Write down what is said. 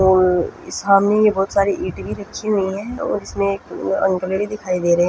और सामने भी बहुत सारी ईंट भी रखी हुई है और उसमे एक दिखाई दे रहे है।